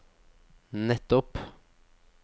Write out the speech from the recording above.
nettopp